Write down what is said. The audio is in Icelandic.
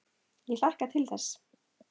Ég hlakka til þess.